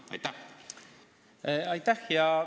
Aitäh!